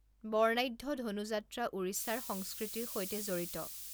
বৰ্ণাঢ্য ধনু যাত্ৰা ওড়িশাৰ সংস্কৃতিৰ সৈতে জড়িত।